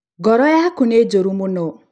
ngoro yaku nĩ njũru mũno